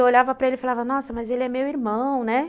Eu olhava para ele e falava, nossa, mas ele é meu irmão, né?